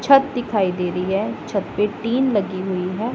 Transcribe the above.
छत दिखाई दे रही है छत पे टीन लगी हुई है।